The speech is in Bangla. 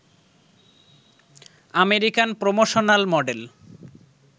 American promotional model